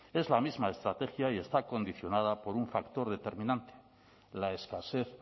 es la misma estrategia y está condicionada por un factor determinante la escasez